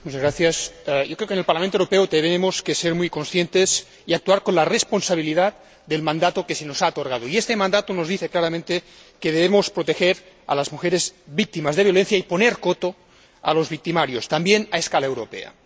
Señor Presidente, yo creo que en el Parlamento Europeo tenemos que ser muy conscientes y actuar con la responsabilidad del mandato que se nos ha otorgado y este mandato nos dice claramente que debemos proteger a las mujeres víctimas de violencia y poner coto a los victimarios, también a escala europea.